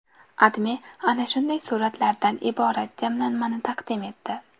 AdMe ana shunday suratlardan iborat jamlanmani taqdim etdi .